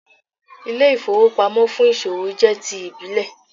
Ilé-ìfowópamọ́ fún ìsòwò jẹ́ ti ìbílẹ̀